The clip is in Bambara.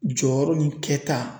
Jɔyɔrɔ ni kɛta.